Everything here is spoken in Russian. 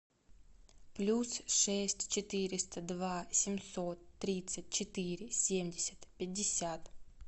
плюс шесть четыреста два семьсот тридцать четыре семьдесят пятьдесят